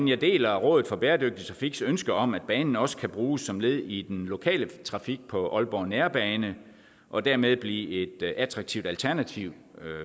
jeg deler rådet for bæredygtig trafiks ønske om at banen også kan bruges som led i den lokale trafik på aalborg nærbane og dermed blive et attraktivt alternativ